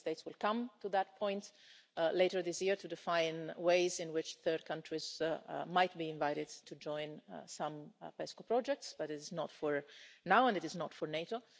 Member States will come to that point later this year to define ways in which third countries might be invited to join some PESCO projects, but is not for now and it is not for NATO.